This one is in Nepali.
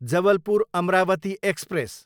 जबलपुर, अमरावती एक्सप्रेस